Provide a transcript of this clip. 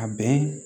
A bɛn